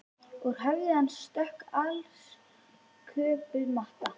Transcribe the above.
Úr höfði hans stökk alsköpuð Mata